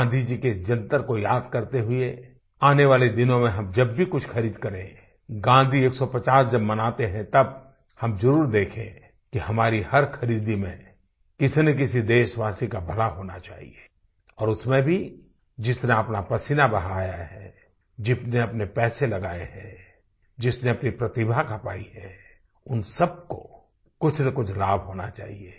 गाँधी जी के इस जंतर को याद करते हुए आने वाले दिनों में हम जब भी कुछ खरीद करें गाँधी जी की 150वी जयंती मनाते हैं तब हम जरुर देखें कि हमारी हर खरीदी में किसीनकिसी देशवासी का भला होना चाहिए और उसमें भी जिसने अपना पसीना बहाया है जिसने अपने पैसे लगाये हैं जिसने अपनी प्रतिभा खपाई है उन सबको कुछनकुछ लाभ होना चाहिए